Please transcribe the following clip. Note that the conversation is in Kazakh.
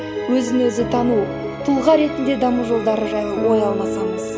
өзі өзі тану тұлға ретінде даму жолдары жайлы ой алмасамыз